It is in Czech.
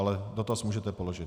Ale dotaz můžete položit.